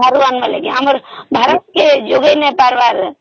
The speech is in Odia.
ବାହାରୁ ଆଣିବା ନାଗି ଆମର ଭାରତ କେ ଯୋଗେଇ ନାଇଁ ପାରିବାର